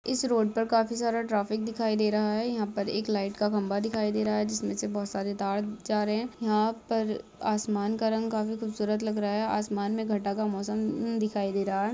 इस रोड पर काफ़ी सारा ट्राफिक दिखाई दे रहा है यहा पर एक लाईट का खंबा दिखाई दे रहा हैजिसमे से बहुत सारे तार जा रहे है यहा पर आसमान का रंग काफी खुबसूरत लग रहा है आसमान में घटा का मोसम दिखाई दे रहां है।